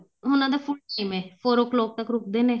ਉਹਨਾ ਦਾ four o clock ਤੱਕ ਰੁਕਦੇ ਨੇ